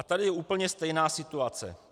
A tady je úplně stejná situace.